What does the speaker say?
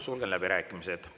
Sulgen läbirääkimised.